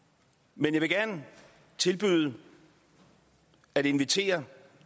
men jeg vil gerne tilbyde at invitere